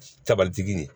Tabalitigi de ye